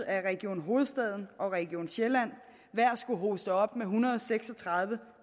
at region hovedstaden og region sjælland hver skulle hoste op med en hundrede og seks og tredive